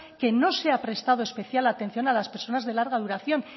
que no se ha prestado especial atención a las personas de larga duración